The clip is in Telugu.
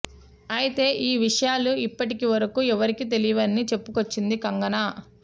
అయితే ఈ విషయాలు ఇప్పటి వరకు ఎవరికీ తెలియవని చెప్పుకొచ్చింది కంగనా